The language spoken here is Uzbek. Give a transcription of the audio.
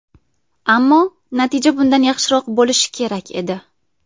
Ammo natija bundan yaxshiroq bo‘lishi kerak edi.